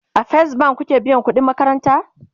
a first bank kuke biyan ƙuɗin makaranta?